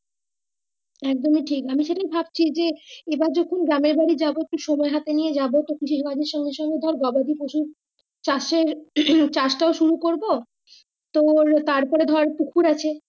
এক দমই ঠিক আমি সেই ভাবছি যে এবার যখন গ্রামের এ যাবো একটু সময় হাতে নিয়ে যাবো কৃষি কাজের সঙ্গে সঙ্গে গবাদ পশু চাষের হম চাষ টায় শুরু করবো তোর তারপরে ধরে পুকুর আছে।